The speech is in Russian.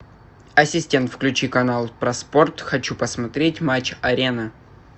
ассистент включи канал про спорт хочу посмотреть матч арена